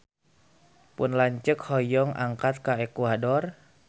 Pun lanceuk hoyong angkat ka Ekuador